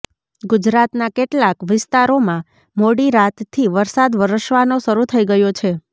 ગુજરાતના કેટલાક વિસ્તારોમાં મોડી રાતથી વરસાદ વરસવાનો શરૂ થઈ ગયો છે